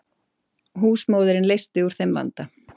Húsmóðirin leysti úr þeim vanda.